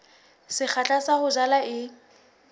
sekgahla sa ho jala e